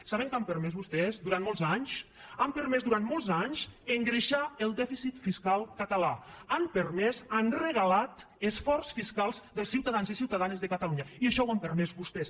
saben què han permès vostès durant molts anys han permès durant molts anys engreixar el dèficit fiscal català han permès han regalat esforç fiscal dels ciutadans i ciutadanes de catalunya i això ho han permès vostès